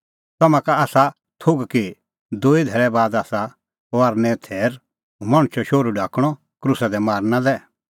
तम्हां का आसा थोघ कि दूई धैल़ै बाद आसा फसहेओ थैर हुंह मणछो शोहरू ढाकणअ क्रूसा दी मारना लै